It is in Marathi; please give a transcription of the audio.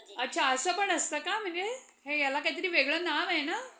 ok आणि कसं म्हणजे